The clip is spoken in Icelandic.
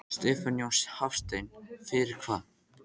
Stefán Jón Hafstein: Fyrir hvað?